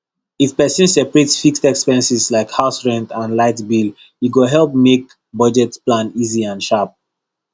if person separate fixed expenses like house rent and light bill e go help make budget plan easy and shap